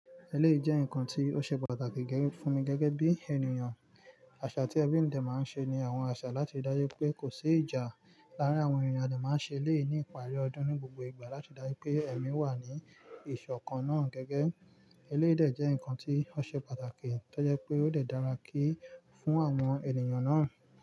Eléyìí jẹ́ nǹkan tí ó ṣe pàtàkì gẹ́gẹ́ fún mi gẹ́gẹ́ bí ènìyàn. Àṣà tí ẹbí mi dẹ̀ máa ń ṣe ni àwọn àṣà láti ri daju pé kò sí ìjà láàárín àwọn ènìyàn. A dẹ̀ máa ń ṣe eléyìí ní ìparí ọdún ní gbogbo ìgbà láti dáyé pé ẹ̀mí wà ní ìṣọ̀kan náà gẹ́gẹ́. Eléyìí dẹ̀ jẹ́ ǹkan tí ó ṣe pàtàkì tó jẹ́ pé ó lè dára kí fún àwọn ènìyàn náà.